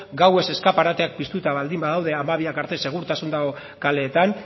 gauez eskaparateak piztuta baldin badaude gaueko hamabiak arte segurtasuna kaleetan